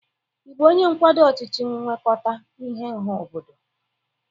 Ị bụ onye nkwado ọchịchị nwekọta ihe ọha obodo?